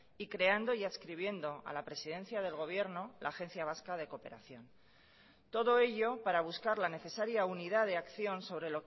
y creando y adscribiendo a la presidencia del gobierno la agencia vasca de cooperación todo ello para buscar la necesaria unidad de acción sobre